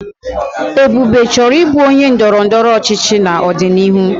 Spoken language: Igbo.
Ebube chọrọ ịbụ onye ndọrọ ndọrọ ọchịchị n'ọdịnihu.